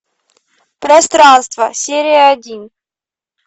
пространство серия один